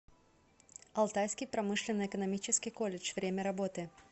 алтайский промышленно экономический колледж время работы